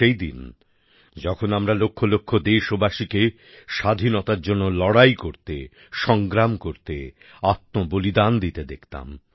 সেই দিন যখন আমরা লক্ষ লক্ষ দেশবাসীকে স্বাধীনতার জন্য লড়াই করতে সংগ্রাম করতে আত্মবলিদান দিতে দেখতাম